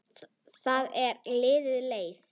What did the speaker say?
Það er til leið.